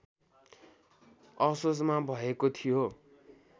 असोजमा भएको थियो